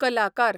कलाकार